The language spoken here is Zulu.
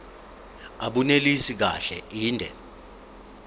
abunelisi kahle inde